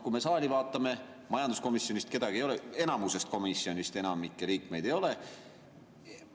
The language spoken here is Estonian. Kui me saali vaatame, siis näeme, et majanduskomisjonist kedagi ei ole, enamikust komisjonidest enamikku liikmeid ei ole.